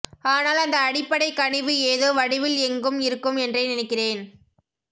ஆனால் அந்த அடிபப்டைக் கனிவு ஏதோ வடிவில் எங்கும் இருக்கும் என்றே நினைக்கிறேன்